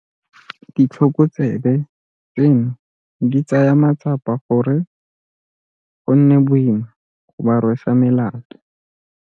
Ditlhokotsebe tseno di tsaya matsapa gore go nne boima go ba rwesa melato.